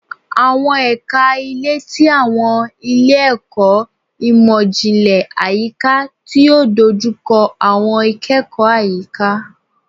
Awọn ẹka ile ti awọn ile-ẹkọ imọ-jinlẹ Ayika ti o dojukọ awọn ikẹkọ ayika